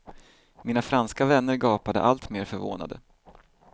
Mina franska vänner gapade alltmer förvånade.